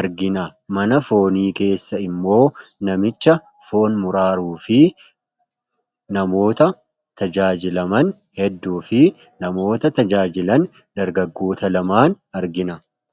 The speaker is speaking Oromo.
argina. Mana foonii keessa immoo namicha foon muraaruu fi namoota tajaajilaman hedduu fi namoota tajaajilan dargaggoota lamaan argina.